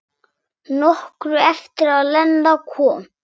Nokkru eftir að Lena kom.